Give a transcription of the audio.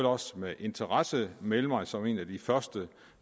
også med interesse melde mig som en af de første